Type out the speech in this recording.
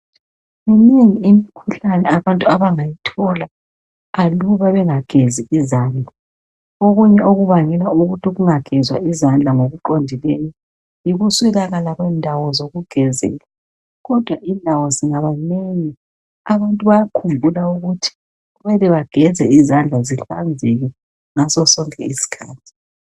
Minengi imkhuhlane abantu abangayithola. aluba bengagezi izandla okunye okubangela ukuthi kungagezwa izandla ngokuqondileyo yikuswelakala kwendawo zokugezela kodwa indawo zingaba nengi abantu bayakhumbula ukuthi kumele bageze izandla zihlanzeke ngaso sonke iskhathi.